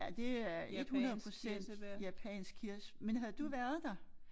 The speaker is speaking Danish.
Ja det er 100% japansk kirs men havde du været der?